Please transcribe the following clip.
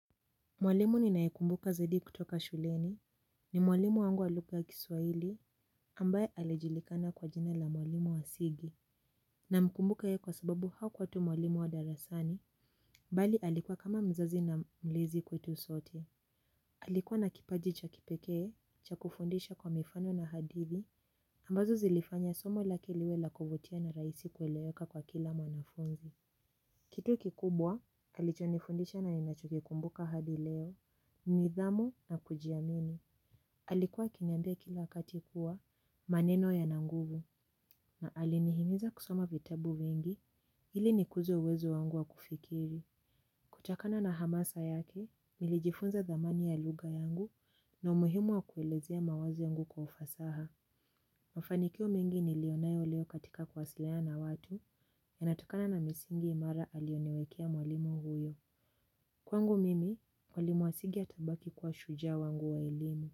Mwalimu ninaekumbuka zaidi kutoka shuleni, ni mwalimu wangu wa lugha ya kiswahili, ambaye alijulikana kwa jina la mwalimu wasigi, namkumbuka yeye kwa sababu hakuwa tu mwalimu wa darasani, bali alikuwa kama mzazi na mlezi kwetu sote. Alikuwa na kipaji cha kipekee, cha kufundisha kwa mifano na hadithi, ambazo zilifanya somo lake liwe la kuvutia na rahisi kueleweka kwa kila mwanafunzi. Kitu kikubwa, alichonifundisha na ninachokikumbuka hadi leo, nidhamu na kujiamini. Alikuwa akiniambia kila wakati kuwa maneno yana nguvu, na alinihimiza kusoma vitabu vingi, ili nikuze uwezo wangu wa kufikiri. Kutokana na hamasa yake, nilijifunza dhamani ya lugha yangu na umuhimu wa kuelezea mawazo yangu kwa ufasaha. Mafanikio mengi niliyo nayo leo katika kuwasiliana na watu yanatokana na misingi imara aliyoniwekea mwalimu huyo. Kwangu mimi, mwalimu asigi atabaki kwa shujaa wangu wa elimu.